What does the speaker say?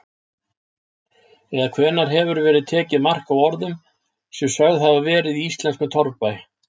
Eða hvenær hefur verið tekið mark á orðum sem sögð hafa verið í íslenskum torfbæ?